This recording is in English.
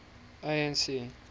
anc